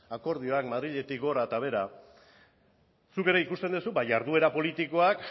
akordioan madriletik gora eta behera zuk ere ikusten duzu ba jarduera politikoak